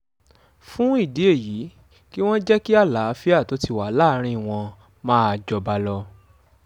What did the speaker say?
fún ìdí èyí kí wọ́n jẹ́ kí àlàáfíà tó ti wà láàrin wọn máa jọba lọ